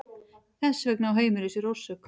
Þess vegna á heimurinn sér orsök.